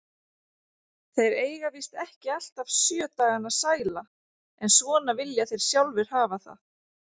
Þeir eiga víst ekki alltaf sjö dagana sæla, en svona vilja þeir sjálfir hafa það.